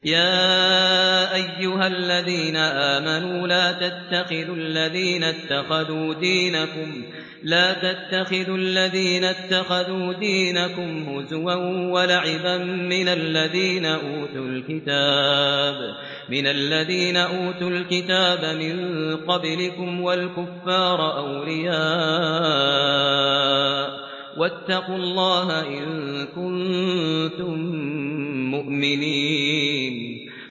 يَا أَيُّهَا الَّذِينَ آمَنُوا لَا تَتَّخِذُوا الَّذِينَ اتَّخَذُوا دِينَكُمْ هُزُوًا وَلَعِبًا مِّنَ الَّذِينَ أُوتُوا الْكِتَابَ مِن قَبْلِكُمْ وَالْكُفَّارَ أَوْلِيَاءَ ۚ وَاتَّقُوا اللَّهَ إِن كُنتُم مُّؤْمِنِينَ